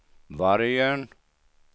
Vargön